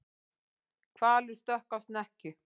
Hvalur stökk á snekkju